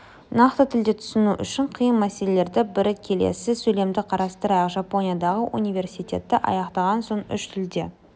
нақты тілді түсіну өте қиын мәселелердің бірі келесі сөйлемді қарастырайық жапониядағы университетті аяқтаған соң үш тілде